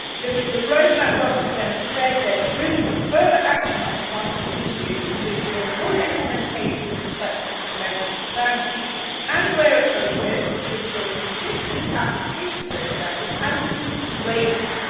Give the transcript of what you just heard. As the road map last November said, there is room for further action on the part of the EU to ensure full implementation in respect of convention standards and, where appropriate, to ensure consistent application of those standards and to raise them.